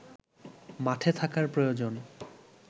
মাঠে থাকার প্রয়োজন